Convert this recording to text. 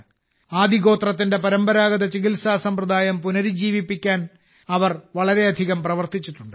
ആദിവാസി ഗോത്രത്തിന്റെ പരമ്പരാഗത ചികിത്സാ സമ്പ്രദായം പുനരുജ്ജീവിപ്പിക്കാൻ അവർ വളരെയധികം പ്രവർത്തിച്ചിട്ടുണ്ട്